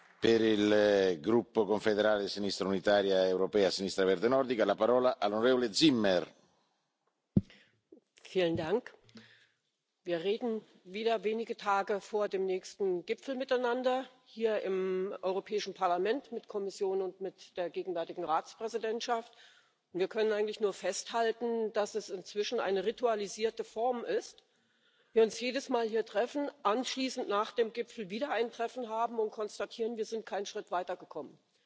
Herr Präsident! Wir reden hier im Europäischen Parlament wieder wenige Tage vor dem nächsten Gipfel miteinander, mit der Kommission und mit der gegenwärtigen Ratspräsidentschaft. Wir können eigentlich nur festhalten, dass es inzwischen eine ritualisierte Form ist, wir uns jedes Mal hier treffen, anschließend nach dem Gipfel wieder ein Treffen haben und konstatieren Wir sind keinen Schritt weitergekommen!